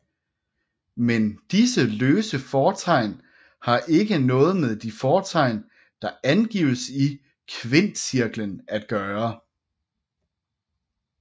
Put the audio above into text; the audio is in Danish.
Men disse løse fortegn har ikke noget med de fortegn der angives i kvintcirklen at gøre